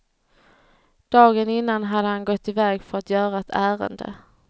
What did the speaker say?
Dagen innan hade han gått iväg för att göra ett ärende.